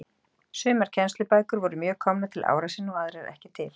Sumar kennslubækur voru mjög komnar til ára sinna og aðrar ekki til.